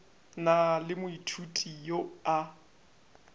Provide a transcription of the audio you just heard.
na le moithuti yo a